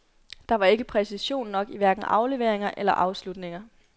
Der var ikke præcision nok i hverken afleveringer eller afslutninger.